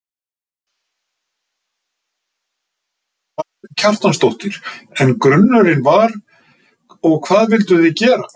Karen Kjartansdóttir: En grunurinn var, og hvað vilduð þið gera?